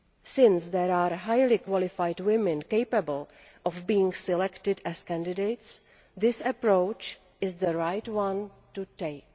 Since there are highly qualified women capable of being selected as candidates, this approach is the right one to take.